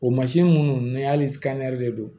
O mansin minnu n'a de don